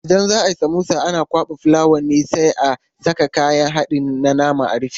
Idan za ayi samosa ana kwaɓa fulawa ne sai a saka kayan haɗin na nama a rufe.